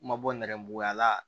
Ma bɔ nɛrɛmuguma la